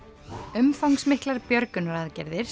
umfangsmiklar björgunaraðgerðir